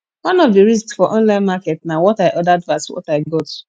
one of di risk for online market na what i ordered vs what i got